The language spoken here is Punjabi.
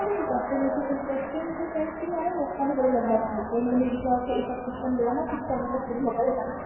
interested ਨਹੀਂ ਸੀ ਮੈਂ ਨਾ ਲੋਕਾਂ ਦੇ love letter ਬਹੁਤ ਲਿਖੇ ਸੀ ਕਿਉਕਿ ਸਾਡੀ ਕਲਾਸ ਵਿਚ